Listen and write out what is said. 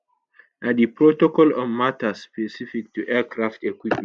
na di protocol on matters specific to aircraft equipment